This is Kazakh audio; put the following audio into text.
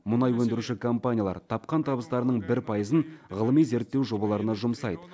мұнай өндіруші компаниялар тапқан табыстарының бір пайызын ғылыми зерттеу жобаларына жұмсайды